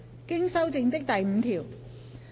經修正的第5條。